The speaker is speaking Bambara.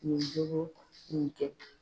Nin jogo kun tɛ.